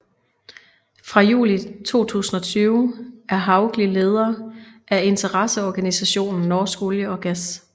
Fra juli 2020 er Hauglie leder af interesseorganisationen Norsk olje og gass